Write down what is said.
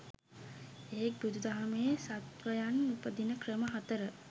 එහෙක් බුදු දහමේ සත්වයන් උපදින ක්‍රම හතර